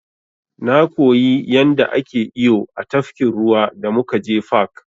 Na koyi yanda ake iyo a tafkin ruwa da muka je fak.